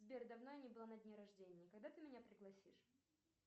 сбер давно я не была на дне рождения когда ты меня пригласишь